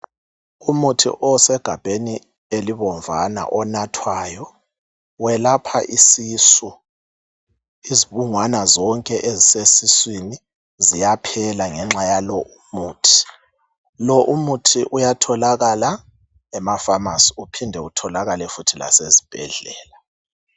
Umuthi osegabheni elibomvana onathwayo welapha isisu. Izibungwana zonke ezisesiswini ziyaphela ngenxa yalo umuthi. Lo umuthi uyatholakala emafamasi uphinde utholakale futhi lasezibhedlela.